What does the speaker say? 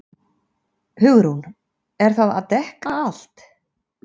HUgrún: Er það að dekka allt?